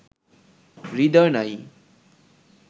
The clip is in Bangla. হৃদয় নাই